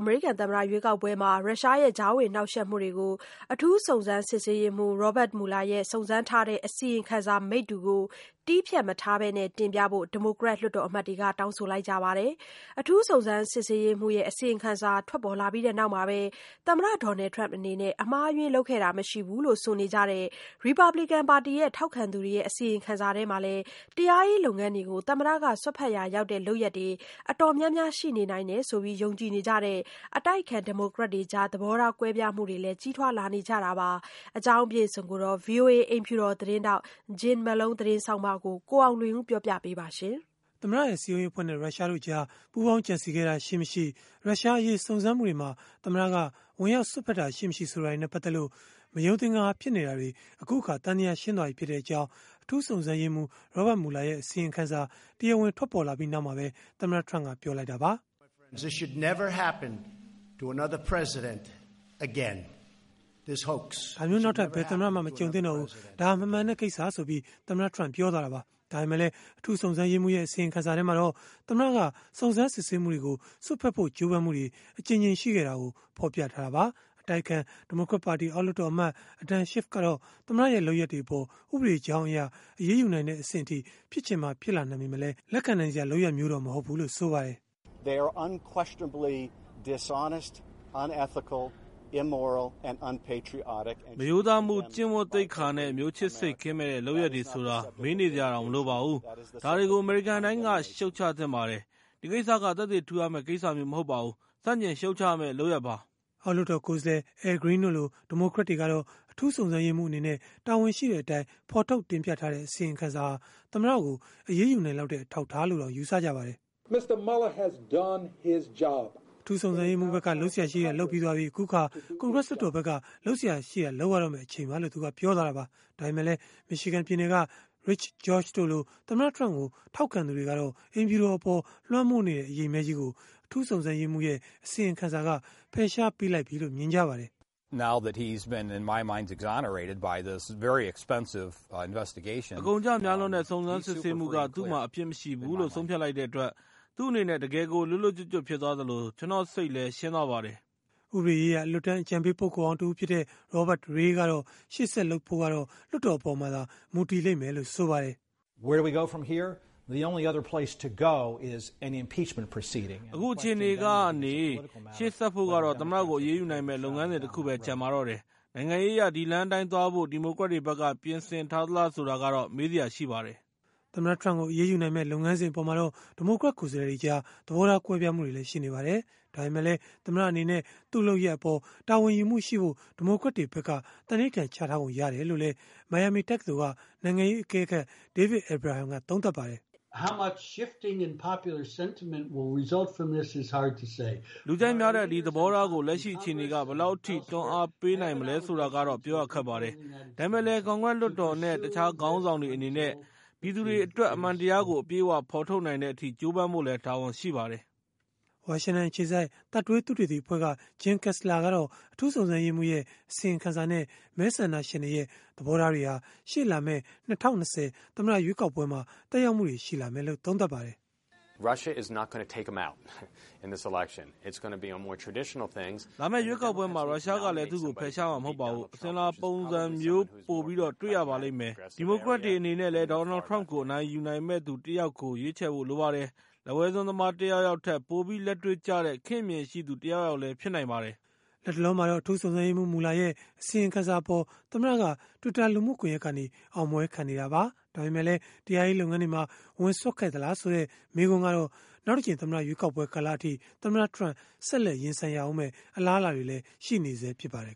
အမေရိကန်သမ္မတ ရွေးကောက်ပွဲမှာ ရုရှားရဲ့ ကြားဝင်နှောက်ယှက်မှုတွေကို အထူးစုံစမ်းစစ်ရေးမှူး Robert Mueller စုံစမ်းထားတဲ့ အစီရင်ခံစာ မိတ္တူကို တည်းဖြတ်မထားပဲ တင်ပြဖို့ ဒီမိုကရက် လွှတ်တော်အမတ်တွေက တောင်းဆိုနေကြပါတယ်။ အထူးစုံစမ်းရေးမှူးရဲ့ အစီရင်ခံစာ ထွက်ပေါ်လာပြီး နောက်မှာပဲ သမ္မတ Donald Trump အနေနဲ့ အမှားအယွင်းလုပ်ခဲ့တာ မရှိဘူးလို့ ဆိုနေကြတဲ့ ရီပတ်ဘလစ်ကန်ပါတီက ထောက်ခံသူတွေနဲ့ အစီရင်ခံစာထဲမှာ တရားရေးလုပ်ငန်းတွေကို သမ္မတက စွက်ဖက်ရာရောက်တဲ့ လုပ်ရပ်တွေ တော်တော်များများ ရှိနေနိုင်တယ်လို့ ယုံကြည်နေကြတဲ့ အတိုက်အခံ ဒီမိုကရက်တွေကြား သဘောထား ကွဲပြားမှုတွေလည်း ကြီးထွားလာနေတာပါ။ ဒီအကြောင်း ဗွီအိုအေ အိမ်ဖြူတော် သတင်းထောက် Jim Malone သတင်းဆောင်းပါးကိုတော့ ကိုအောင်လွင်ဦးက ပြောပြပေးမှာ ဖြစ်ပါတယ်။ သမ္မတရဲ့ စည်းရုံးရေးအဖွဲ့နဲ့ ရုရှားတို့ကြား ပူးပေါင်းကြံစည်ခဲ့တာ ရှိ-မရှိ၊ ရုရှားအရေး စုံစမ်းမှုတွေမှာ သမ္မတက ဝင်ရောက်စွက်ဖက်တာ ရှိ-မရှိ ဆိုတာတွေနဲ့ ပတ်သက်လို့ မယုံသင်္ကာ ဖြစ်နေတာတွေ အခုအခါ သံသယရှင်းသွားပြီဖြစ်တဲ့အကြောင်း အထူးစုံစမ်းရေးမှူး Robert Mueller ရဲ့ အစီရင်ခံစာ တရားဝင် ထွက်ပေါ်လာပြီး နောက်မှာပဲ သမ္မတ Trump ကပြောဆိုလိုက်တာပါ။ “ဒါမျိုးနောက်ထပ် ဘယ်သမ္မတမှ မကြုံသင့်တော့ပါဘူး။ ဒါက မမှန်တဲ့ကိစ္စပါ။ ဒါမျိုးနောက်ထပ် ဘယ်သမ္မတမှ မကြုံသင့်တော့ပါဘူး။” ဒါပေမဲ့လည်း အထူးစုံစမ်းရေးမှူးရဲ့ အစီရင်ခံစာမှာတော့ သမ္မတက စုံစမ်းစစ်ဆေးမှုတွေကို စွက်ဖက်ဖို့ ကြိုးပမ်းမှုတွေ အကြိမ်ကြိမ် ရှိခဲ့တာကို ဖော်ပြထားတာပါ။ အတိုက်အခံ ဒီမိုကရက်ပါတီ အောက်လွှတ်တော်အမတ် Adam Schiff ကတော့ သမ္မတရဲ့ လုပ်ရပ်တွေအပေါ် ဥပဒေကြောင်းအရ အရေးယူနိုင်တဲ့ အဆင့်အထိ ဖြစ်ချင်မှဖြစ်လာနိုင်ပေမဲ့လည်း လက်ခံနိုင်စရာ လုပ်ရပ်မျိုး မဟုတ်ဘူးလို့ ဆိုပါတယ်။ “မရိုးသားမှု၊ ကျင့်ဝတ်သိက္ခာနဲ့ မျိုးချစ်စိတ်ကင်းမဲ့တဲ့ လုပ်ရပ်တွေဆိုတာ မေးနေစရာတောင် မလိုပါဘူး၊ ဒါတွေကို အမေရိကန်တိုင်းက ရှုတ်ချသင့်ပါတယ်။ ဒီကိစ္စက သက်သေထူရမယ့် ကိစ္စမျိုးမဟုတ်ပါဘူး၊ ဆန့်ကျင်ရှုတ်ချရမယ့် လုပ်ရပ်ပါ။” အောက်လွှတ်တော် ကိုယ်စားလှယ် Al Green တို့လို ဒီမိုကရက်တွေကတော့ အထူးစုံစမ်းရေးမှူးအနေနဲ့ တာဝန်ရှိတဲ့အတိုင်း ဖော်ထုတ်တင်ပြထားတဲ့ အစီရင်ခံစာဟာ သမ္မတကို အရေးယူနိုင်လောက်တဲ့ အထောက်အထားလို့တောင် ယူဆကြပါတယ်။ “သူ့ဖက်က လုပ်စရာရှိတာ လုပ်ပြီးသွားပါပြီ၊ အခုကတော့ ကွန်ဂရက်လွှတ်တော်ဖက်က လုပ်စရာရှိတာ လုပ်ရမယ့်အချိန်ပါ။” ဒါပေမဲ့လည်း Michiganပြည်နယ်ကRich George တို့လို သမ္မတ Trump ကို ထောက်ခံသူတွေကတော့ အိမ်ဖြူတော်အပေါ် လွှမ်းမိုးနေတဲ့ အရိပ်မည်းကြီးကို အထူးစုံစမ်းရေးမှူးရဲ့ အစီရင်ခံစာက ဖယ်ရှားပေးလိုက်ပြီလို့ မြင်ကြပါတယ်။ “အကုန်အကျ များလွန်းတဲ့ စုံစမ်းစစ်ဆေးမှုက သူ့မှာအပြစ်မရှိဘူးလို့ ဆုံးဖြတ်လိုက်တဲ့အတွက်၊ သူ့အနေနဲ့ တကယ့်ကို လွတ်လွတ်ကျွတ်ကျွတ် ဖြစ်သွားသလို ကျနော့်စိတ်လည်း ရှင်းသွားပါတယ်။” ဥပဒေရေးရာ အလွတ်တန်း အကြံပေးပုဂ္ဂိုလ်ဟောင်းတဦးဖြစ်တဲ့ Robert Ray ကတော့ ရှေ့ဆက်လုပ်ဖို့က လွှတ်တော်အပေါ်မှာသာ မူတည်မယ်လို့ ဆိုပါတယ်။ “အခုအခြေအနေကနေ ရှေ့ဆက်ဖို့ကတော့ သမ္မတကို အရေးယူနိုင်မယ့် လုပ်ငန်းစဉ် တခုပဲကျန်ပါတော့တယ်။ နိုင်ငံရေးအရ ဒီလမ်းအတိုင်းသွားဖို့ ဒီမိုကရက်တွေဖက်က ပြင်ဆင်ထားသလား ဆိုတာကတော့ မေးစရာရှိပါတယ်။” သမ္မတ Trump ကို အရေးယူနိုင်မယ့် လုပ်ငန်းစဉ်အပေါ်မှာတော့ ဒီမိုကရက် ကိုယ်စားလှယ်တွေကြား သဘောထားကွဲပြားမှုတွေ ရှိနေပါတယ်။ ဒါပေမဲ့လည်း သမ္မတအနေနဲ့ သူ့လုပ်ရပ်အပေါ် တာဝန်ယူမှုရှိဖို့ ဒီမိုကရက်တွေဖက်က သန္နိဓာန်ချထားပုံရတယ်လို့လည်း မိုင်ယာမီတက္ကသိုလ်က နိုင်ငံရေးအကဲခတ် David Abraham ကသုံးသပ်ပါတယ်။ “လူကြိုက်များတဲ့ ဒီသဘောထားကို လက်ရှိအခြေအနေက ဘယ်လောက်အထိ တွန်းအားပေးနိုင်မလဲ ဆိုတာကတော့ ပြောရခက်ပါတယ်။ ဒါပေမဲ့လည်း ကွန်ဂရက်လွှတ်တော်နဲ့ တခြားခေါင်းဆောင်တွေ အနေနဲ့ ပြည်သူတွေအတွက် အမှန်တရားကို အပြည့်အဝ ဖော်ထုတ်နိုင်တဲ့အထိ ကြိုးပမ်းဖို့လည်း တာဝန်ရှိပါတယ်။” ဝါရှင်တန်အခြေစိုက် Third Way သုတေသီအဖွဲ့က Jim Kessler ကတော့ အထူးစုံစမ်းရေးမှူးရဲ့ အစီရင်ခံစာနဲ့ မဲဆန္ဒရှင်တွေရဲ့ သဘောထားတွေဟာ ရှေ့လာမယ့် ၂၀၂၀ သမ္မတရွေးကောက်ပွဲမှာ သက်ရောက်မှုတွေ ရှိလာလိမ့်မယ်လို့ သုံးသပ်ပါတယ်။ “လာမယ့်ရွေးကောက်ပွဲမှာ ရုရှားကလည်း သူ့ကိုဖယ်ရှားမှာ မဟုတ်ပါဘူး။ အစဉ်အလာ ပုံစံမျိုးပိုပြီး တွေ့ရပါလိမ့်မယ်။ ဒီမိုကရက်တွေ အနေနဲ့လည်း Donald Trump ကို အနိုင်ယူနိုင်မယ့်သူ တယောက်ယောက်ကို ရွေးချယ်ဖို့ လိုပါတယ်။ လက်ဝဲစွန်းသမား တယောက်ယောက်ထက် ပိုပြီးလက်တွေ့ကျတဲ့ ခေတ်အမြင်ရှိသူ တယောက်ယောက်လည်း ဖြစ်နိုင်ပါတယ်။” လတ်တလောမှာတော့ အထူးစုံစမ်းရေးမှူး Mueller ရဲ့ အစီရင်ခံစာအပေါ် သမ္မတက Twitter လူမှုကွန်ရက်ကနေ အောင်ပွဲခံနေပါတယ်။ ဒါပေမဲ့လည်း တရားရေးလုပ်ငန်းတွေမှာ ဝင်စွက်ခဲ့သလားဆိုတဲ့ မေးခွန်းကတော့ နောက်တကြိမ် သမ္မတရွေးကောက်ပွဲ ကာလအထိ သမ္မတ Trump ဆက်လက် ရင်ဆိုင်ရဦးမယ့် အလားအလာတွေလည်း ရှိနေဆဲဖြစ်ပါတယ်